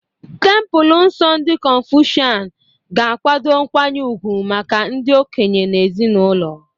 Templelọ nsọ ndị Confucian ga-akwado nkwanye ugwu maka ndị okenye na ezinụlọ.